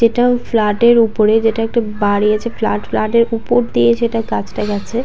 এইটাও ফ্ল্যাটের ওপরে যেটা একটা বাড়ি আছে। ফ্লাট ফ্ল্যাটের ওপর দিয়ে সেটা গাছটা গেছে।